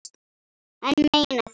Ég meina þetta.